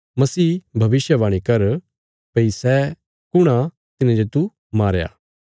मसीह भविष्यवाणी कर भई सै कुण आ तिने जे तू मारया